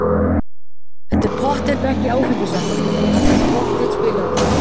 Þetta er pottþétt ekki áfengisvandamál og hann mun pottþétt spila aftur.